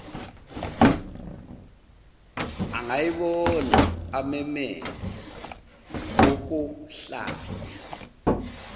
angayibona amemeze okohlanya